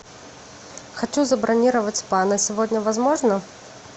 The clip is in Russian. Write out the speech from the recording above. хочу забронировать спа на сегодня возможно